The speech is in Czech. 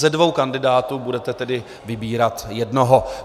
Ze dvou kandidátů budete tedy vybírat jednoho.